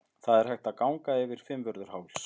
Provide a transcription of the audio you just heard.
Það er hægt að ganga yfir Fimmvörðuháls.